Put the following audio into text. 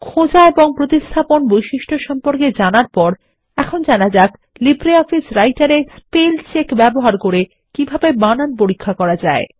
খোঁজা এবং প্রতিস্থাপন বৈশিষ্ট্য সম্পর্কে জানার পরেএখন জানা যাক লিব্রিঅফিসারাইটের এ স্পেল চেক ব্যবহার করে কিভাবে বানান পরীক্ষা করা যায়